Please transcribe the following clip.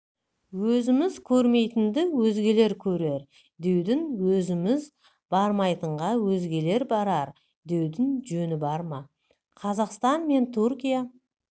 өзіміз көрмейтінді өзгелер көрер деудің өзіміз бармайтынға өзгелер барар деудің жөні бар ма қазақстан мен түркия